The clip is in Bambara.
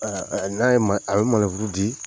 n'a ye maneburu a bɛ maneburu di.